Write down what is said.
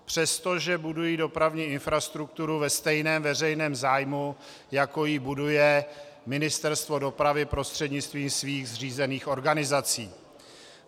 Přestože budují dopravní infrastrukturu ve stejném veřejném zájmu, jako ji buduje Ministerstvo dopravy prostřednictvím svých zřízených organizací.